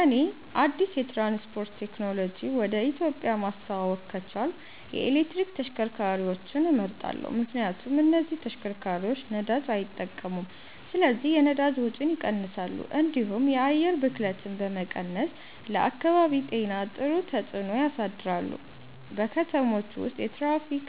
እኔ አዲስ የትራንስፖርት ቴክኖሎጂ ወደ ኢትዮጵያ ማስተዋወቅ ከቻልኩ የኤሌክትሪክ ተሽከርካሪዎችን እመርጣለሁ። ምክንያቱም እነዚህ ተሽከርካሪዎች ነዳጅ አይጠቀሙም ስለዚህ የነዳጅ ወጪን ይቀንሳሉ፣ እንዲሁም የአየር ብክለትን በመቀነስ ለአካባቢ ጤና ጥሩ ተጽዕኖ ያሳድራሉ። በከተሞች ውስጥ የትራፊክ